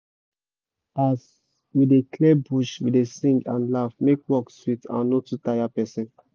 as we dey clear bush we dey sing and laugh make work sweet and no too tire person